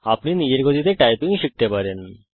আপনি নিজের গতিতে টাইপিং শিখতে পারেন